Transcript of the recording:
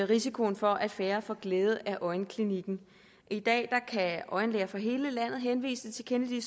risikoen for at færre får glæde af øjenklinikken i dag kan øjenlæger fra hele landet henvise til kennedy